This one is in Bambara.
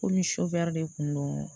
Komi sovire de kun don